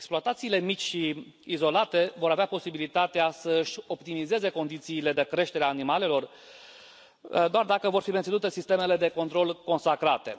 Exploatațiile mici și izolate vor avea posibilitatea să și optimizeze condițiile de creștere a animalelor doar dacă vor fi menținute sistemele de control consacrate.